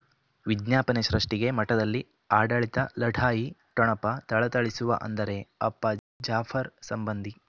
ವಿಜ್ಞಾಪನೆ ಸೃಷ್ಟಿಗೆ ಮಠದಲ್ಲಿ ಆಡಳಿತ ಲಢಾಯಿ ಠೊಣಪ ಥಳಥಳಿಸುವ ಅಂದರೆ ಅಪ್ಪ ಜಾಫರ್ ಸಂಬಂಧಿ